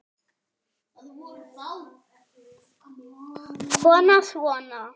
Kona: Svona?